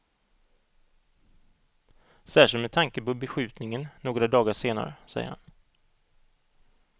Särskilt med tanke på beskjutningen några dagar senare, säger han.